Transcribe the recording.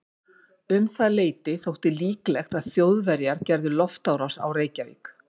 Um það leyti þótti líklegt að Þjóðverjar gerðu loftárás á Reykjavík.